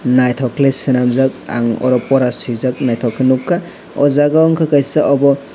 naitok ke selamjak ang oro pora sijak naitok ke nogka o jaga o ungka kaisa obo.